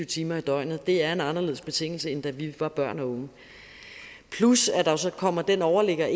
timer i døgnet er en anderledes betingelse end da vi var børn og unge plus at der jo så kommer den overligger